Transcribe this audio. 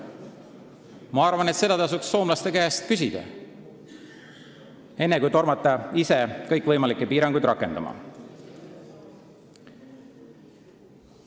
Ma arvan, et seda tasuks soomlaste käest küsida, enne kui tormata kõikvõimalikke piiranguid rakendama.